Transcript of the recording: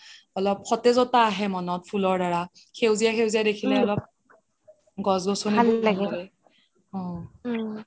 অলপ সতেজতা আহে মনত ফুলৰ দাৰা সেউজীয়া সেউজীয়া দেখিলে অলপ গছ গছ্নি অহ